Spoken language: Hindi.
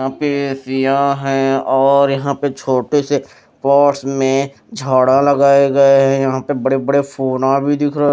यहां पे दिया है और यहां पे छोटे से पॉट्स में झाड़ा लगाए गए हैं यहां पे बड़े-बड़े फोना भी दिख रहे --